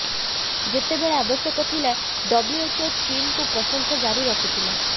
ଯେତେବେଳେ ଆବଶ୍ୟକ ଥିଲା ଡବ୍ଲ୍ୟୁଏଚଓ ଚୀନ୍କୁ ପ୍ରଶଂସା ଜାରି ରଖିଥିଲା